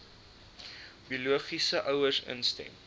biologiese ouers instem